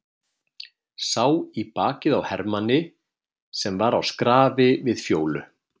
Sá í bakið á hermanni sem var á skrafi við Fjólu.